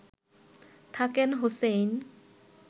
থাকেন হোসেইন